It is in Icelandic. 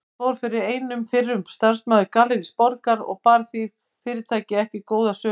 Þar fór fyrir einn fyrrum starfsmaður Gallerís Borgar og bar því fyrirtæki ekki góða sögu.